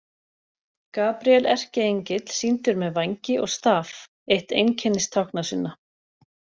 Gabríel erkiengill sýndur með vængi og staf, eitt einkennistákna sinna.